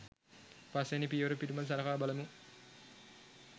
පස් වැනි පියවර පිළිබඳ සළකා බලමු.